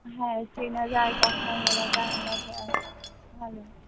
হ্যাঁ চেনা যায় কথা বলা যায় ভালো